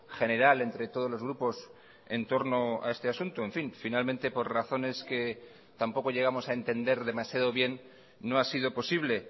general entre todos los grupos en torno a este asunto en fin finalmente por razones que tampoco llegamos a entender demasiado bien no ha sido posible